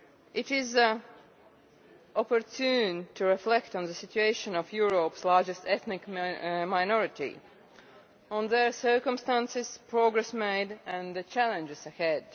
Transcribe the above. it is opportune to reflect on the situation of Europe's largest ethnic minority, on their circumstances, and on progress made and the challenges ahead.